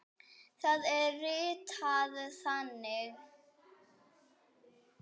Það er ritað þannig